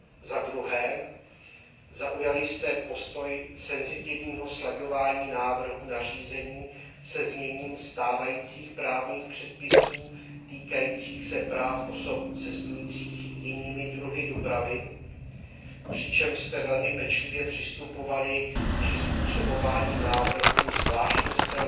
Za druhé, zaujali jste postoj senzitivního slaďování návrhů nařízení se zněním stávajících právních předpisů týkajících se práv osob cestujících jinými druhy dopravy, přičemž jste velmi pečlivě přistupovali k přizpůsobování návrhů zvláštnostem